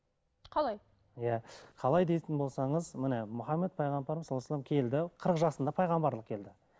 қалай иә қалай дейтін болсаңыз міне мұхаммед пайғамбарымыз келді қырық жасында пайғамбарлық келді